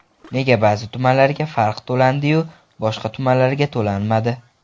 Nega ba’zi tumanlarga farq to‘landi-yu , boshqa tumanlarga to‘lanmadi?